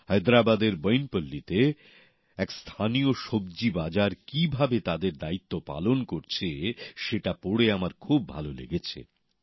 হায়দ্রাবাদের বইনপল্লীতে এক স্থানীয় সব্জি বাজার কিভাবে তাদের দ্বায়িত্বপালন করছে সেটা পড়ে আমার খুব ভাল লেগেছে